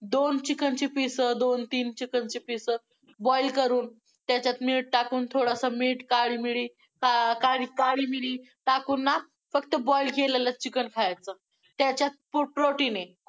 दोन chicken चे piece दोन तीन chicken ची piece boil करून त्याच्यात मीठ टाकून थोडस मीठ काळी मिरी का~काळी मिरी टाकून ना फक्त boil केलेलं chicken खायचं, त्याच्यात खूप protein आहे.